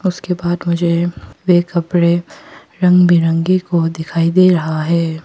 उसके बाद मुझे वे कपड़े रंग बिरंगे को दिखाई दे रहा है।